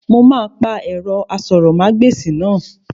Mo máa pa ẹ̀rọ asọ̀rọ̀mágbèsì náà